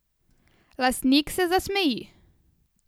Lastnik se zasmeji.